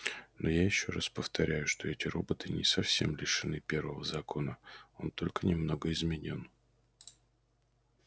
но я ещё раз повторяю что эти роботы не совсем лишены первого закона он только немного изменён